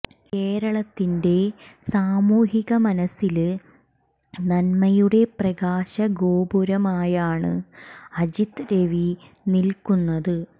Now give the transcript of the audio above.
കേരളത്തിന്റെ സാമൂഹിക മനസ്സില് നന്മയുടെ പ്രകാശ ഗോപുരമായാണ് അജിത്ത് രവി നില്ക്കുന്നത്